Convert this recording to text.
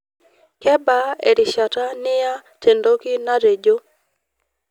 kebaa erishata niya tendoki natejo